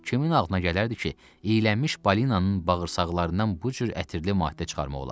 Kimin ağlına gələrdi ki, iylənmiş balinanın bağırsaqlarından bu cür ətirli maddə çıxarmaq olar.